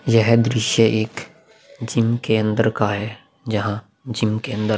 यह दृश्य एक जिम के अंदर का है। जहां जिम के अंदर --